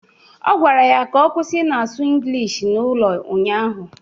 Ọ gwara ya ka ọ kwusi ị na-asụ inglish n'ụlọ ụnyaahụ!